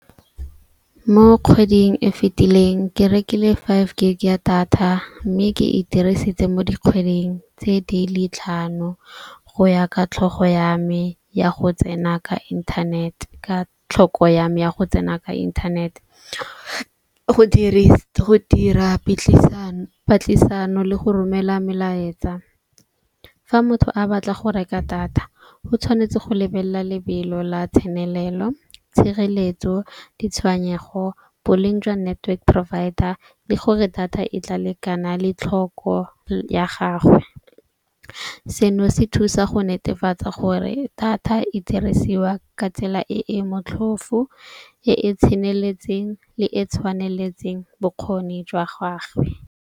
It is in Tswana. Mo kgweding e fitileng ke rekile five gig ya data. Mme ke e dirisitse mo dikgweding tse di le tlhano go ya ka tlhogo ya me, ya go tsena ka inthanete. Ka tlhoko ya me ya go tsena ka inthanete go dira patlisano le go romela melaetsa. Fa motho a batla go reka data go tshwanetse go lebelela lebelo la tsenelelo, tshireletso, ditshwenyego, boleng jwa network provider le gore data e tla lekana le tlhoko ya gagwe. Seno se thusa go netefatsa gore data e dirisiwa ka tsela e e motlhofo, e e tseneletseng le e e tshwaneletseng bokgoni jwa gagwe.